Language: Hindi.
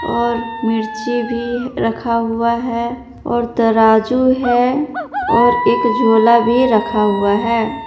और मिर्ची भी रखा हुआ है और तराजू है और एक झोला भी रखा हुआ है।